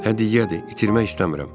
Hədiyyədir, itirmək istəmirəm.